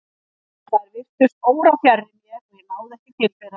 En þær virtust órafjarri mér og ég náði ekki til þeirra.